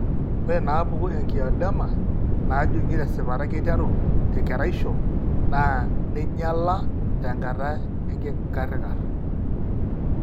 Ore inaapuku eangioedema najung'i tesipata keiteru tekeraisho naa neinyiala tenkata enkikarikar.